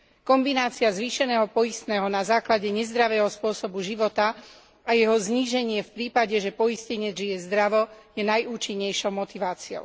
Kombinácia zvýšeného poistného na základe nezdravého spôsobu života a jeho zníženie v prípade, že poistenec žije zdravo, je najúčinnejšou motiváciou.